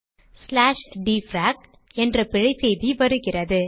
dfrac என்ற பிழை செய்தி வருகிறது